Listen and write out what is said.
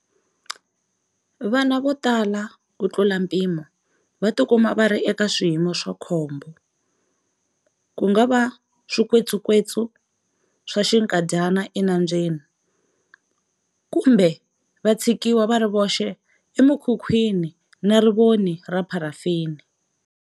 Vana vo tala kutlula mpimo va tikuma va ri eka swiyimo swa khombo, ku nga va swikwekwetsu swa xinkadyana enambyeni, kumbe va tshikiwa va ri voxe emikhukhwini na rivoni ra pharafini.